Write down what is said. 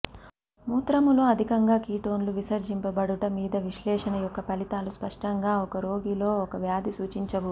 మూత్రములో అథికంగా కీటోన్లు విసర్జించబడుట మీద విశ్లేషణ యొక్క ఫలితాలు స్పష్టంగా ఒక రోగిలో ఒక వ్యాధి సూచించవు